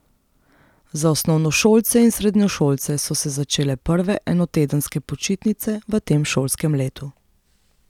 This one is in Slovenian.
Za osnovnošolce in srednješolce so se začele prve enotedenske počitnice v tem šolskem letu.